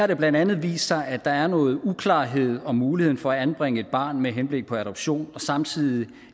det blandt andet vist sig at der er noget uklarhed om muligheden for at anbringe et barn med henblik på adoption samtidig